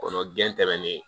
Kɔnɔ gɛn tɛmɛnen